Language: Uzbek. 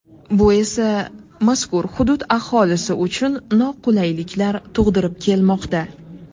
Bu esa, mazkur hudud aholisi uchun noqulayliklar tug‘dirib kelmoqda.